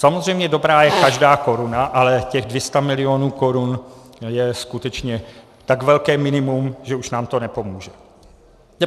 Samozřejmě dobrá je každá koruna, ale těch 200 milionů korun je skutečně tak velké minimum, že už nám to nepomůže.